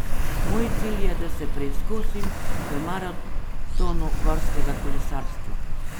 Moj cilj je, da se preizkusim v maratonu gorskega kolesarstva.